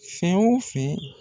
Fɛn wo fɛn